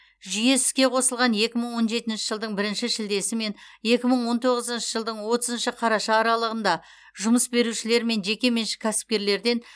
жүйе іске қосылған екі мың он жетінші жылдың бірінші шілдесі мен екі мың он тоғызыншы жылдың отызыншы қараша аралығында жұмыс берушілер мен жекеменшік кәсіпкерлерден